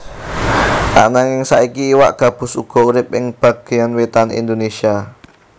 Ananging saiki iwak gabus uga urip ing bagéyan wétan Indonésia